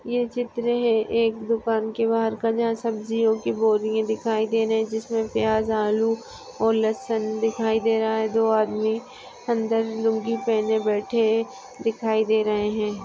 ये चित्र है एक दुकान के बहार का जहा सब्जीया कि बोरीया दिखाई दे रहे है जिसमे प्याज आलू और लसन दिखाई दे रहा है दो आदमी अंदर लुंगी पहने बैठे दिखाई दे रहे है।